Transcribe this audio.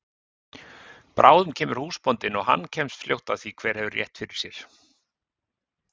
Bráðum kemur húsbóndinn og hann kemst fljótt að því hver hefur rétt fyrr sér!